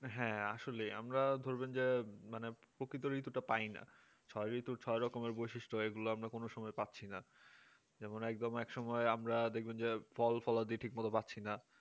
হ্যাঁ আসলে আমরা ধরবেন যে মানে প্রকৃত ঋতুটা পায়না পাইনি তো ছয় রকম বৈশিষ্ট্য হয় এগুলো আমরা কোন সময় পাচ্ছি না যেমন একদম এক সময় আমরা দেখবেন যে ফল ফিলাদি যে ঠিক মতো পাচ্ছি না